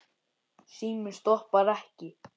Síminn stoppar ekki.